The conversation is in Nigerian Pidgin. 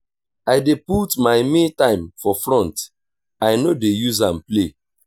i dey put my me-time for front i no dey use am play.